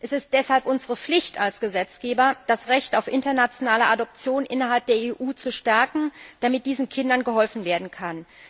Es ist deshalb unsere Pflicht als Gesetzgeber, das Recht auf internationale Adoption innerhalb der EU zu stärken, damit diesen Kindern geholfen werden kann.